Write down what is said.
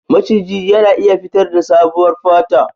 Maciji yana iya fitarda sabuwar fata.